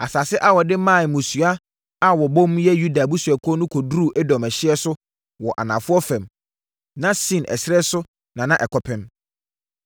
Asase a wɔde maa mmusua a wɔbom yɛ Yuda abusuakuo no kɔduruu Edom ɛhyeɛ so wɔ anafoɔ fam, na Sin ɛserɛ so na ɛkɔpem.